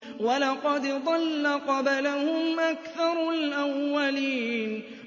وَلَقَدْ ضَلَّ قَبْلَهُمْ أَكْثَرُ الْأَوَّلِينَ